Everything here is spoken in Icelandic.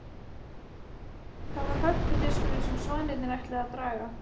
Það var hörpudiskurinn sem svanirnir ætluðu að draga.